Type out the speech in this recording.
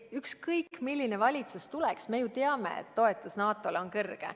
Ükskõik milline valitsus tuleks, me ju teame, et toetus NATO-le on kõrge.